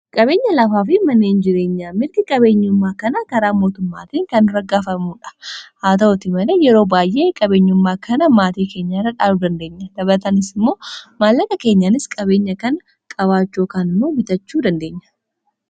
qabeenya lafaa fi maneen jireenya mirgi qabeenyummaa kana karaa mootummaatii kan raggaafamuudha haa ta'uti malee yeroo baay'ee qabeenyummaa kana maatii keenya irradhaanuu dandeenya dabatanis immoo maallaqa keenyanis qabeenya kana qabaachoo kannu bitachuu dandeenya